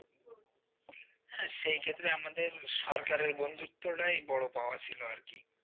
সে ক্ষেত্রে আমাদের সরকারের বন্ধুত্বটাই বড় পাওয়া ছিল আর কি।